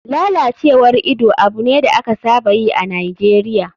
Lalacewar ido abu ne da aka saba yi a nigeria.